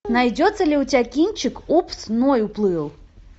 найдется ли у тебя кинчик упс ной уплыл